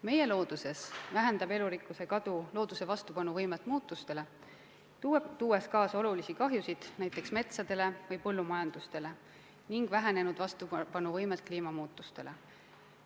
Meie looduses vähendab elurikkuse kadu looduse vastupanuvõimet muutustele, tuues kaasa suurt kahju näiteks metsadele ja põllumajandusele ning vähenenud võime kliimamuutustele vastu panna.